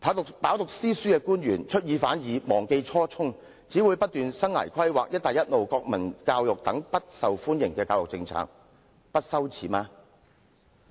官員飽讀詩書，卻出爾反爾，忘記初衷，只不斷提倡生涯規劃、'一帶一路'、國民教育等不受歡迎的教育政策，他們不感到羞耻嗎？